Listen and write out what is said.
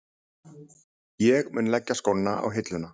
Ég mun leggja skóna á hilluna.